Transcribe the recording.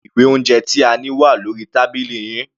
Bẹ́ẹ̀ni, ìwé oúnjẹ tí a ní wà lórí tábìlì yín.